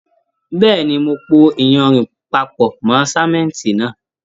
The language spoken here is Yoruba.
Bẹ́ẹ̀ni, mo pò iyanrìn papọ mọ sánmọ́ntì náà.